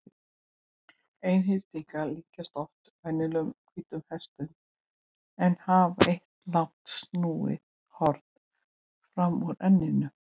Einhyrningar líkjast oft venjulegum hvítum hestum en hafa eitt langt snúið horn fram úr enninu.